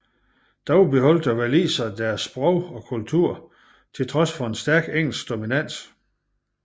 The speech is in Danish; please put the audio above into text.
Dog beholdt waliserne deres sprog og kultur til trods for stærk engelsk dominans